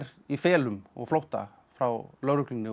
í felum og flótta frá lögreglunni og